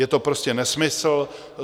Je to prostě nesmysl.